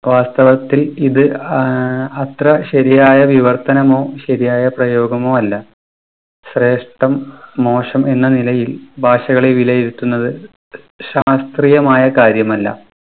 വാസ്‌തവത്തിൽ ഇത് ആഹ് അത്ര ശരിയായ വിവർത്തനമോ ശരിയായ പ്രയോഗമോ അല്ല. ശ്രേഷ്ടം മോശം എന്ന നിലയിൽ ഭാഷകളെ വിലയിരുത്തുന്നത് ശാസ്ത്രീയമായ കാര്യമല്ല.